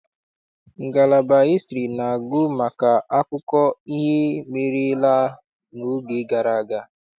Ngalaba hịstrị na-agụ maka akụkọ ihe merela n'oge gara aga.